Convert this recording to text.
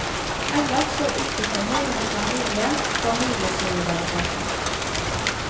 Ellers så uttrykker moren i familien familiesolidariteten.